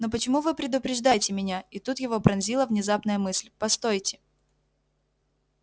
но почему вы предупреждаете меня и тут его пронзила внезапная мысль постойте